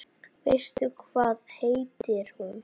Veistu hvað heitir hún?